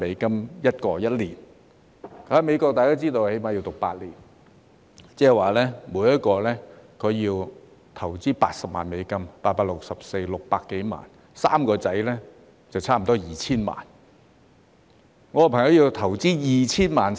大家都知道，在美國最少要讀8年，即每人需要80萬美元，即600多萬元 ，3 名兒子就差不多需要 2,000 萬元。